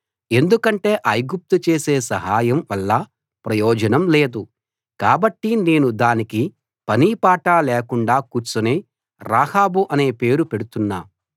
ఎందుకంటే ఐగుప్తు చేసే సహాయం వల్ల ప్రయోజనం లేదు కాబట్టి నేను దానికి పనీ పాటా లేకుండా కూర్చునే రాహాబు అనే పేరు పెడుతున్నా